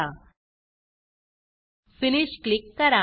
finish click करा